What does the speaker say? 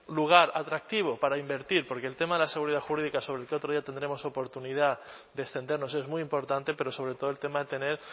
lugar atractivo para invertir porque el tema de la seguridad jurídica sobre el que otro día tendremos oportunidad de extendernos es muy importante pero sobre todo el tema de tener